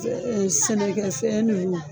Sɛnɛkɛ fɛn ninnu.